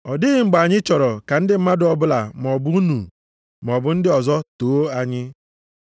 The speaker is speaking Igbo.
Ọ dịghị mgbe anyị chọrọ ka ndị mmadụ ọbụla maọbụ unu, maọbụ ndị ọzọ, too anyị.